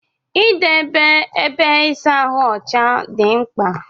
Idebe ébé ịsa ahụ ọcha dị mkpa.